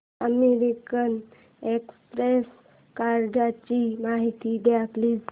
American Express कार्डची माहिती दे प्लीज